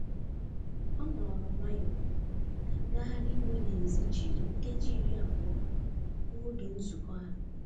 Ọ nọrọ nwayọ ka ngagharị iwe n'èzí jiri nkeji iri abụọ gbuo oge nzụkọ ha.